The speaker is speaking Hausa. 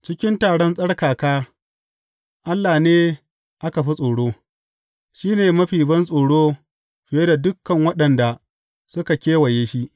Cikin taron tsarkaka Allah ne aka fi tsoro; shi ne mafi bantsoro fiye da dukan waɗanda suka kewaye shi.